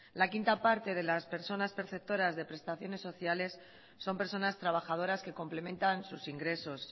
la quinta parte de las personas preceptoras de prestaciones sociales son personas trabajadoras que complementan sus ingresos